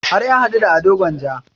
Har ya haɗu da ado gwanja